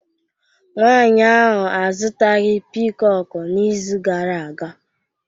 nwanyi ahuu azutaghi piikoku n'izu gara aga